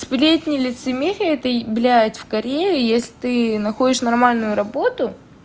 сплетни лицемерие это блядь в корее если ты находишь нормальную работу